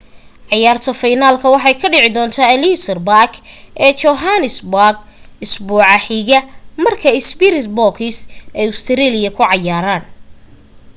cayaarta fiinalka waxa ay ka dhici doonta ellis park ee johannesburg isbuuca xiga marka springboks ay australia ku cayaaran